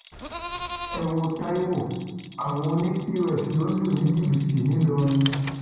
ẹ wo taiwo àwọn ọnì pọs ló ń lù ní jìbìtì nìlọrin